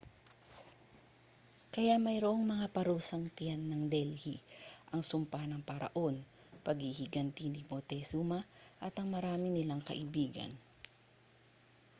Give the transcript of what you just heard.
kaya mayroong mga parusang tiyan ng delhi ang sumpa ng paraon paghihiganti ni montezuma at ang marami nilang kaibigan